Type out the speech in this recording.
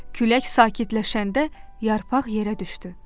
Külək sakitləşəndə yarpaq yerə düşdü.